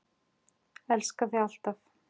Elska þig alltaf!